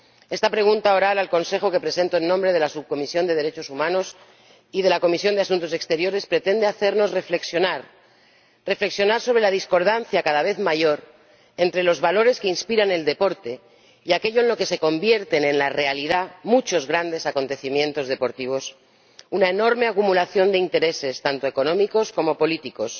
Esta pregunta oral al Consejo, que presento en nombre de la Subcomisión de Derechos Humanos y de la Comisión de Asuntos Exteriores, pretende hacernos reflexionar, reflexionar sobre la discordancia cada vez mayor entre los valores que inspiran el deporte y aquello en lo que se convierten, en la realidad, muchos grandes acontecimientos deportivos una enorme acumulación de intereses, tanto económicos como políticos